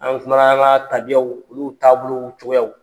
An kumana an ka tabiyaw olu taabolow cogoyaw